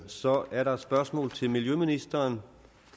så er der et spørgsmål til miljøministeren